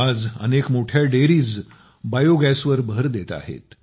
आज अनेक मोठ्या डेअरीज बायोगॅसवर भर देत आहेत